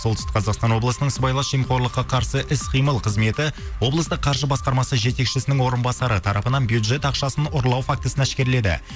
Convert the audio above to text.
солтүстік қазақстан облысының сыбайлас жемқорлыққа қарсы іс қимыл қызметі облысты қаржы басқармасы жетекшісінің орынбасары тарапынан бюджет ақшасын ұрлау фактісін әшкереледі